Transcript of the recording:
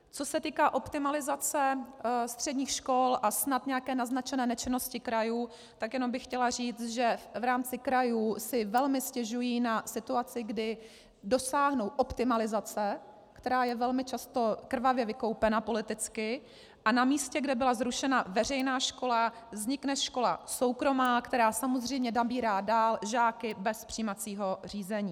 Co se týká optimalizace středních škol a snad nějaké naznačené nečinnosti krajů, tak jenom bych chtěla říct, že v rámci krajů si velmi stěžují na situaci, kdy dosáhnou optimalizace, která je velmi často krvavě vykoupena politicky, a na místě, kde byla zrušena veřejná škola, vznikne škola soukromá, která samozřejmě nabírá dál žáky bez přijímacího řízení.